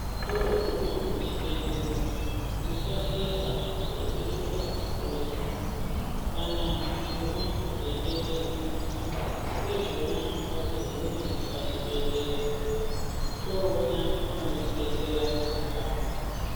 Toguma kuchibhedhlera tisahlehla yeipetuka sure. Kana mishuna dzeitetena, ndizvona ngatigume pachibhedhlera toona vanotidetsera apapo.